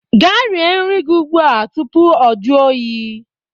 Gaa rie nri gị ugbu a tupu o jụọ oyi